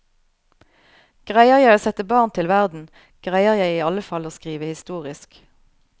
Greier jeg å sette barn til verden, greier jeg i alle fall å skrive historisk.